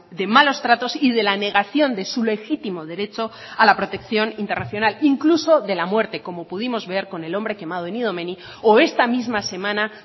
de malos tratos y de la negación de su legítimo derecho a la protección internacional incluso de la muerte como pudimos ver con el hombre quemado en idomeni o esta misma semana